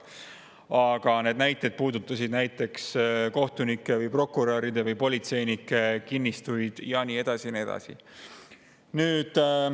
Aga need näited puudutasid näiteks kohtunike, prokuröride või politseinike kinnistuid ja nii edasi ja nii edasi.